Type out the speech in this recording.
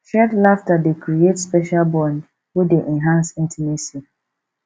shared laughter dey create special bond wey dey enhance intimacy